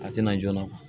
A tɛna joona